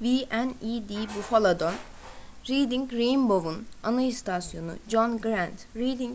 wned buffalo'dan reading rainbow'un ana istasyonu john grant reading